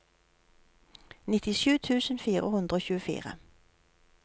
nittisju tusen fire hundre og tjuefire